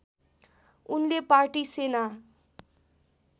उनले पार्टी सेना